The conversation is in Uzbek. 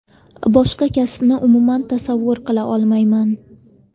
Boshqa kasbni umuman tasavvur qila olmayman.